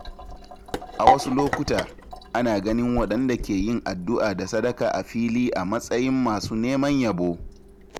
A wasu lokuta, ana ganin waɗanda ke yin addu’a da sadaka a fili a matsayin masu neman yabo.